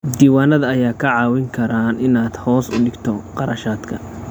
Diiwaanada ayaa kaa caawin kara inaad hoos u dhigto kharashaadka.